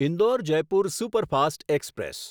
Indore Jaipur superfast express